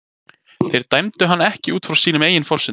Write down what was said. Þeir dæmdu hann ekki út frá sínum eigin forsendum.